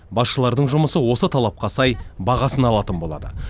басшылардың жұмысы осы талапқа сай бағасын алатын болады